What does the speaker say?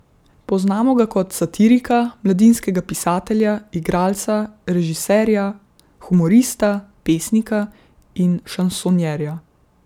Poznamo ga kot satirika, mladinskega pisatelja, igralca, režiserja, humorista, pesnika in šansonjerja.